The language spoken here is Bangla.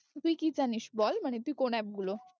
তুই কি জানিস বল মানে তুই কোন app গুলো